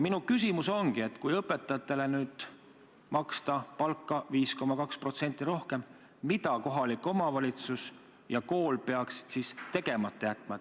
Minu küsimus ongi, et kui õpetajatele maksta palka 5,2% rohkem, siis mida peaksid kohalik omavalitsus ja kool tegemata jätma.